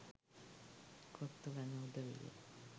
කොත්තු කන උදවිය.